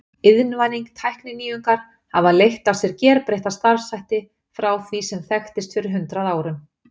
Iðnvæðing Tækninýjungar hafa leitt af sér gerbreytta starfshætti frá því sem þekktist fyrir hundrað árum.